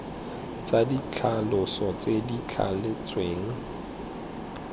tsa ditlhaloso tse di thaletsweng